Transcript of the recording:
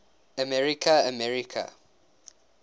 america america